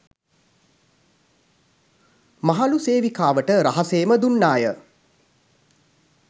මහලු සේවිකාවට රහසේම දුන්නාය